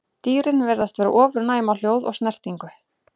Dýrin virðast vera ofurnæm á hljóð og snertingu.